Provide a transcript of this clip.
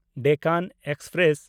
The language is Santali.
ᱰᱮᱠᱟᱱ ᱮᱠᱥᱯᱨᱮᱥ